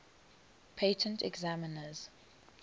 patent examiners